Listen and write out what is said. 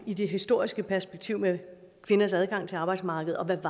i det historiske perspektiv med kvinders adgang til arbejdsmarkedet og hvad